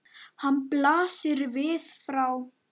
Hann blasir við frá